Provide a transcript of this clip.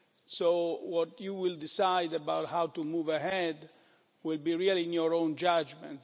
So what you decide about how to move ahead, will be really in your own judgment.